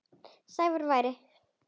Sævar væri.